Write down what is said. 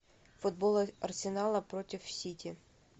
футбол арсенала против сити